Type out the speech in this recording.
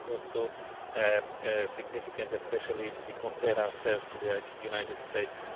This is also significant, especially if we compare ourselves to the United States.